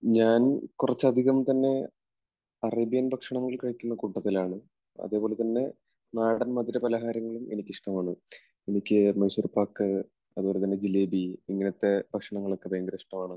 ഞാൻ കുറച്ച് അധികം തന്നെ അറേബ്യൻ ഭക്ഷണങ്ങൾ കഴിക്കുന്ന കൂട്ടത്തിലാണ്. അതുപോലെതന്നെ നാടൻ മധുരപലഹാരങ്ങളും എനിക്കിഷ്ടമാണ്. എനിക്ക് മൈസൂർപാക്ക്, അതുപോലെതന്നെ ജിലേബി ഇങ്ങനത്തെ ഭക്ഷണങ്ങൾ ഒക്കെ ഭയങ്കര ഇഷ്ടമാണ്.